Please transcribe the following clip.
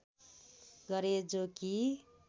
गरे जो कि